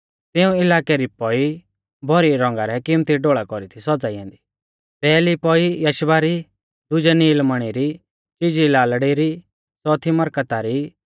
तिऊं इलाकै री पौई भौरी रौंगा रै किमत्ती ढोल़ा कौरी थी सौज़ाई ऐन्दी पैहली पौई यशबा री दुजै नीलमणी री चीजी लालड़ी री च़ौथी मरकता री